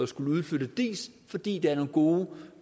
skal udflyttes fordi der er nogle gode